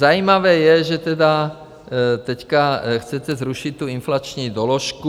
Zajímavé je, že tedy teď chcete zrušit tu inflační doložku.